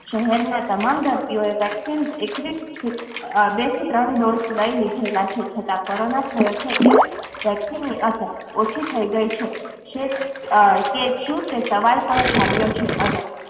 શહેરના તમામ દર્દીઓ ને vaccine બે થી ત્રણ dose લાયી લીધેલ છે છતાં કોરોના થયોછે ત્યાર થી vaccine ને ની અસ્સાર ઓછી થયી ગયી છે તે જામ્યું છે